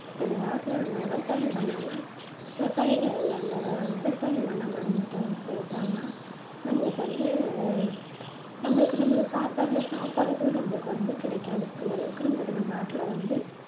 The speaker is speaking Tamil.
இந்த காலத்துல நம்ம விவசாயம் பண்ணாம விவசாயிகள் எல்லாம் விவசாயம் பண்ணாம இருந்துட்டா~இருந்துட்டாங்கன்னா நம்மளுக்கு வந்து நம்மளுக்கு நம்மளுக்கு சாப்பிடுற சாப்பாடு கூட நம்மளுக்கு வந்து கிடைக்காது அந்தளவுக்கு நம்மளுக்கு நம் நாட்டுல வந்து